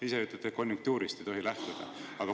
Ise ütlete, et konjunktuurist ei tohi lähtuda.